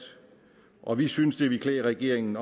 og vi synes det ville klæde regeringen